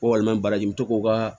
Ko walima baraji n bɛ to k'o ka